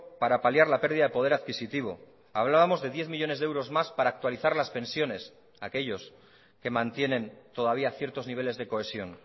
para paliar la pérdida de poder adquisitivo hablábamos de diez millónes de euros más para actualizar las pensiones a aquellos que mantienen todavía ciertos niveles de cohesión